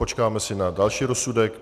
Počkáme si na další rozsudek.